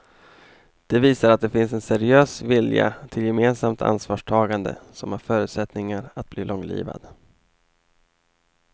Det visar att det finns en seriös vilja till gemensamt ansvarstagande som har förutsättningar att bli långlivad.